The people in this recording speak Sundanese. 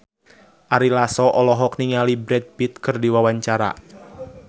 Ari Lasso olohok ningali Brad Pitt keur diwawancara